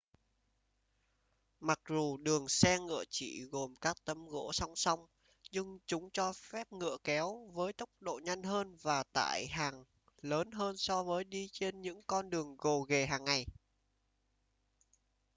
mặc dù đường xe ngựa chỉ gồm các tấm gỗ song song nhưng chúng cho phép ngựa kéo với tốc độ nhanh hơn và tải lượng hàng lớn hơn so với đi trên những con đường gồ ghề hàng ngày